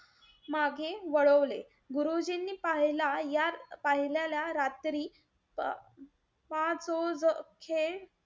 माघे वळवले. गुरुजींनी पाह~ पाहिलेल्या रात्री पा पाच जोखे,